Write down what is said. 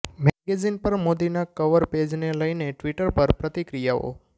magazine પર મોદીના cover પેઝને લઇને ટ્વીટર પર પ્રતિક્રિયાઓ